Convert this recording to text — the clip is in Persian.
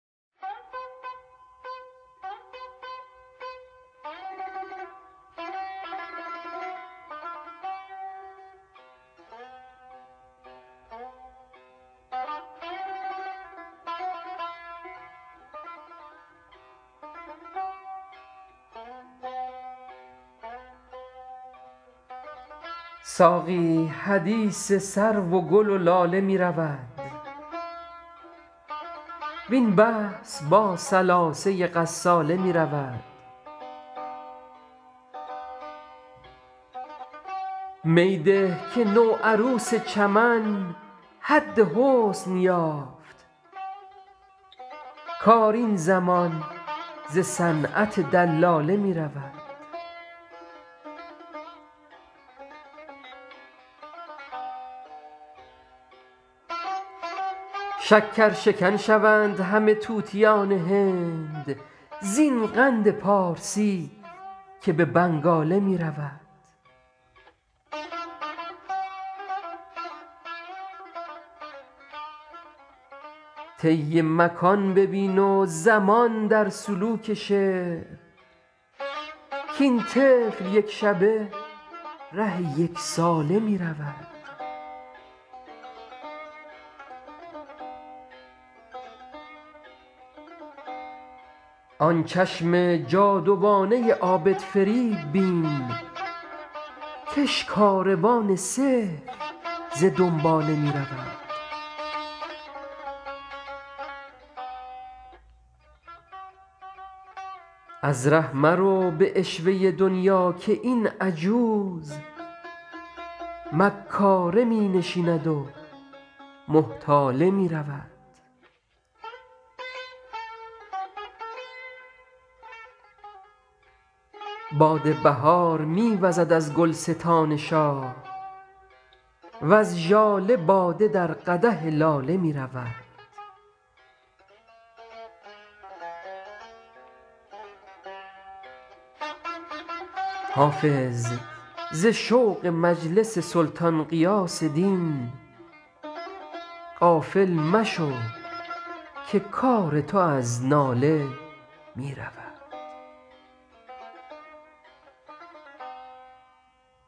ساقی حدیث سرو و گل و لاله می رود وین بحث با ثلاثه غساله می رود می ده که نوعروس چمن حد حسن یافت کار این زمان ز صنعت دلاله می رود شکرشکن شوند همه طوطیان هند زین قند پارسی که به بنگاله می رود طی مکان ببین و زمان در سلوک شعر کاین طفل یک شبه ره یک ساله می رود آن چشم جادوانه عابدفریب بین کش کاروان سحر ز دنباله می رود از ره مرو به عشوه دنیا که این عجوز مکاره می نشیند و محتاله می رود باد بهار می وزد از گلستان شاه وز ژاله باده در قدح لاله می رود حافظ ز شوق مجلس سلطان غیاث دین غافل مشو که کار تو از ناله می رود